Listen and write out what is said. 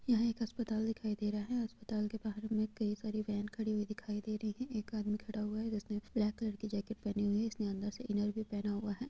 यह एक अस्पताल दिखाई दे रहा है यह अस्पताल के बहार में कई सारे वेंन खडी हुई दिखाई दे रही है एक आदमी खड़ा हुआ है जिसने ब्लैक कलर की जैकेट पहनी हुई है इसने अंदर से इनर भी पहना हुआ है।